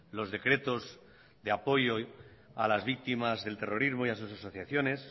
los decretos de apoyo a las víctimas del terrorismo y a sus asociaciones